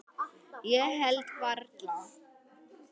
Ég held varla.